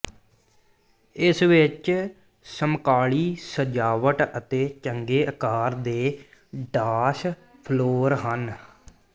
ਇਸ ਵਿੱਚ ਸਮਕਾਲੀ ਸਜਾਵਟ ਅਤੇ ਚੰਗੇ ਆਕਾਰ ਦੇ ਡਾਂਸ ਫਲੋਰ ਹਨ